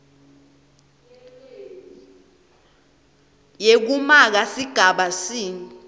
yekumaka sigaba c